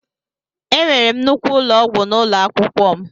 Enwere m nnukwu ụlọ ọgwụ n'ụlọ akwụkwọ m.